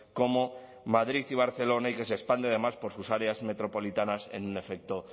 como madrid y barcelona y que se expande además por sus áreas metropolitanas en un efecto